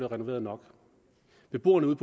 renoveret nok beboerne ude